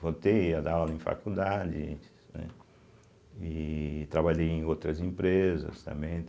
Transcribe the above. Voltei a dar aula em faculdades, né, e trabalhei em outras empresas também.